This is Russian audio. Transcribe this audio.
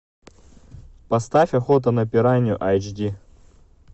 поставь охота на пиранью айч ди